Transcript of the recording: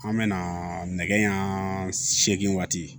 An bɛ na nɛgɛ ɲɛ seegin waati